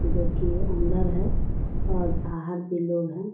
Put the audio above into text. जो की अंदर है और बाहर भी लोग हैं।